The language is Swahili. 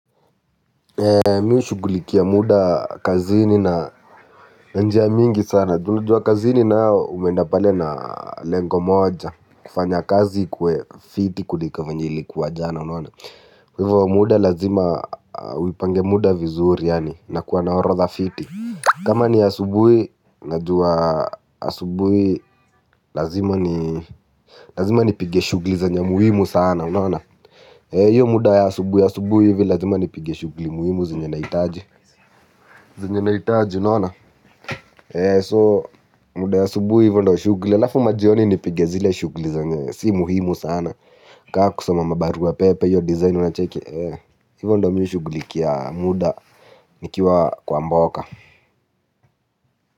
Mi ushugulikia muda kazini na njia mingi sana. Juna jua kazini na umenda pale na lengo moja. Kufanya kazi kuwe fiti kuliko venye ilikuwa jana. Kwa muda lazima, uipange muda vizuri yani na kuwa na orotha fiti. Kama ni asubui, najua asubui lazima nipige shuguli zenye muimu sana. Hiyo muda ya asubui, asubui hivi lazima nipige shuguli muimu zenye naitaji. Zinye naitaa unaona, ee so muda wa asubuhi hivyo ndo shugli, alafu majioni nipige zile shugli zenye, si muhimu sana, kakusoma mabarua pepe, iyo design una cheki, ee hivyo ndo mi hushuglikia muda, nikiwa kwa mboka.